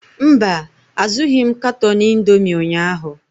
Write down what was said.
Mba, azụghị m katọn indomi ụnyaahụ.